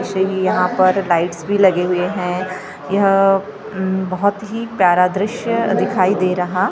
यहाँ पर लाइट्स भी लगे हुए हैं यह उम्म बहुत ही प्यारा दृश्य दिखाई दे रहा --